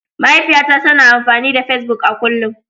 Mahaifiyata tana amfani da Facebook a kullum